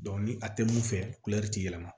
ni a tɛ mun fɛ kulɛri tɛ yɛlɛma